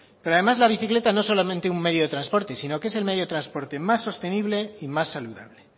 pero además la bicicleta no solo un medio de transporte sino que es el medio de transporte más sostenible y más saludable